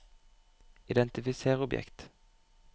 identifiser objekt